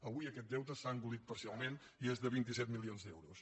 avui aquest deute s’ha engolit parcialment i és de vint set milions d’euros